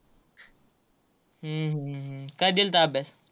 हम्म हम्म हम्म काय दिलता अभ्यास.